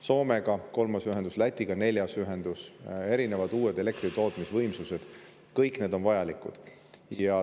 Soomega kolmas ühendus, Lätiga neljas ühendus, erinevad uued elektritootmisvõimsused – kõik need on vajalikud.